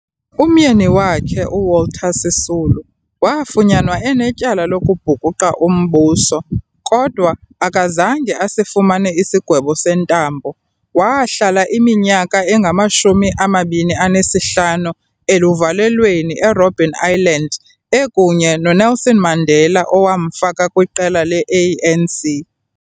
Umyeni wakhe, uWalter Sisulu wafunyanwa enetyala lokubhukuqa umbuso, kodwa akazange asifumane isigwebo sentambo. Wahlala iminyaka eyi-25 eluvalelweni eRobben Island ekunye noNelson Mandela owamfaka kwiqela le-ANC.